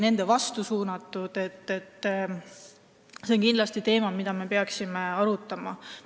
See on kindlasti teema, mida me peaksime arutama.